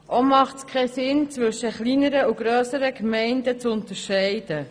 Auch macht es keinen Sinn, zwischen kleineren und grösseren Gemeinden zu unterscheiden.